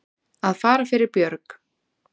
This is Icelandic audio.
Að fara fyrir björg